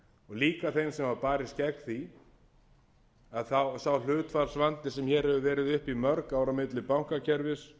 líka þeim sem hafa barist gegn því að sá hlutfallsvandi sem hér hefur verið uppi í mörg ár á milli bankakerfis